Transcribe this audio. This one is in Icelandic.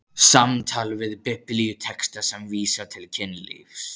SAMTAL VIÐ BIBLÍUTEXTA SEM VÍSA TIL KYNLÍFS